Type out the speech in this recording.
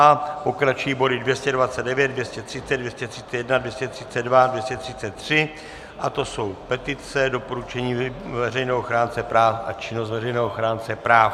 A pokračují body 229, 230, 231, 232, 233, a to jsou petice, doporučení veřejného ochránce práv a činnost veřejného ochránce práv.